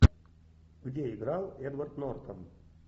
где играл эдвард нортон